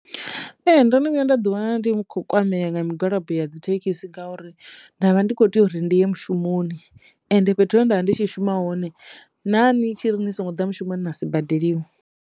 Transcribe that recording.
Ee ndono vhuya nda ḓi wana ndi kho kwameya nga migwalabo ya dzithekhisi ngauri ndavha ndi kho teyo ri ndi ye mushumoni ende fhethu he nda vha ndi tshi shuma hone na nitshi ri ni songo ḓa mushumoni na a si badeliwe.